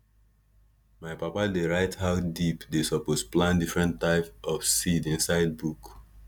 my papa dey write how deep dey suppose plant different type of seeds inside book